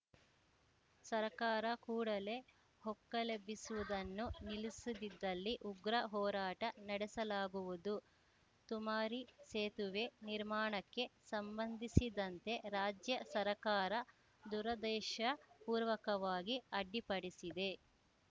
ಸರಕಾರ ಕೂಡಲೇ ಹೊಕ್ಕಲೆಬ್ಬಿಸುವುದನ್ನು ನಿಲ್ಲಿಸದಿದ್ದಲ್ಲಿ ಉಗ್ರ ಹೋರಾಟ ನಡೆಸಲಾಗುವುದು ತುಮರಿ ಸೇತುವೆ ನಿರ್ಮಾಣಕ್ಕೆ ಸಂಬಂಧಿಸಿದಂತೆ ರಾಜ್ಯ ಸರಕಾರ ದುರುದ್ದೇಶ ಪೂರ್ವಕವಾಗಿ ಅಡ್ಡಿಪಡಿಸಿದೆ